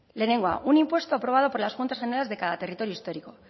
lehenengoa un impuesto aprobado por las juntas generas de cada territorio histórico